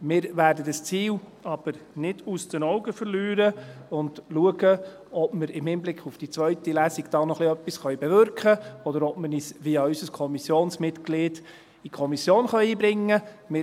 Wir werden dieses Ziel aber nicht aus den Augen verlieren und schauen, ob wir in Hinblick auf die zweite Lesung da noch etwas bewirken können, oder ob wir uns via unser Kommissionsmitglied in der Kommission einbringen können.